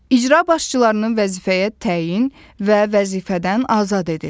İcra başçılarının vəzifəyə təyin və vəzifədən azad edir.